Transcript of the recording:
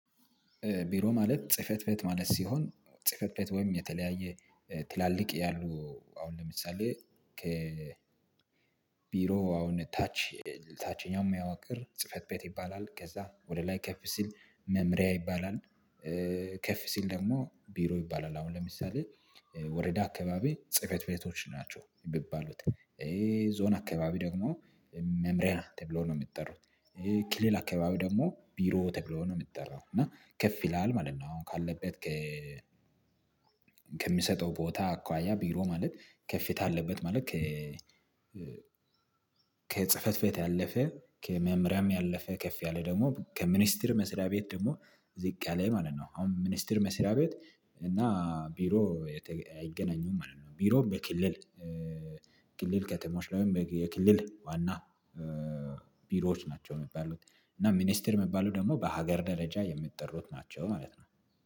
ቢሮ ማለት ጽህፈት ቤት ማለት ሲሆን ጽህፈት ቤት ወይም የተለያየ ትላልቅ ያሉ አሁን ለምሳሌ ከ ቢሮ አሁን ታች ታችኛው የሚያዋቅር ጽህፈት ቤት ይባላል ከዛ ወደ ላይ ከፍ ሲል መምሪያ ይባላል ከፍ ሲል ደግሞ ቢሮ ይባላል አሁን ለምሳሌ ወረዳ አካባቢ ጽህፈት ቤቶች ናቸው የሚባሉት ይሄ ዞን አካባቢ ደግሞ መምሪያ ተብሎ ነው የሚጠራው። ክልል አካባቢ ደግሞ ቢሮ ተብሎ ነው የሚጠራው። እና ከፍ ይላል ማለት ነው። አሁን ካለበት ከ ከሚሰጠው ቦታ አኳያ ቢሮ ማለት ከፍታ ያለበት ማለት ከ ከጽህፈት ቤት ያለፈ ከመምሪያም ያለፈ ከፍ ያለ ደግሞ ከሚኒስተር መስሪያ ቤት ደግሞ ዝቅ ያለ ማለት ነው። አሁን ሚኒስተር መስሪያ ቤት እና ቢሮ አይገናኙም ማለት ነው። ቢሮም በክልል ክልል ከተሞች ላይም የክልል ዋና ቢሮዎች ናቸው። የሚባሉት እና ሚኒስቴር የሚባሉ ደግሞ በሀገር ደረጃ የምትጠሩት ናቸው ማለት ነው።